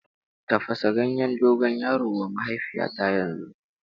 Tafasa ganyen dogon yaro wa mahaifiyata yanzu!